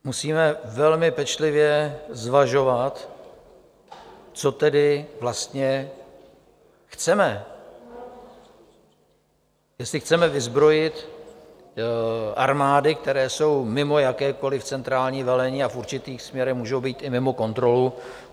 Musíme velmi pečlivě zvažovat, co tedy vlastně chceme, jestli chceme vyzbrojit armády, které jsou mimo jakékoliv centrální velení a v určitých směrech můžou být i mimo kontrolu.